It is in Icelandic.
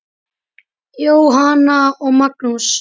Jóhanna og Magnús.